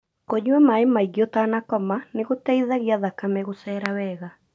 Kũnyua maĩ maingĩ ũtanakoma nĩ gũteithagia thakame gũcera wega.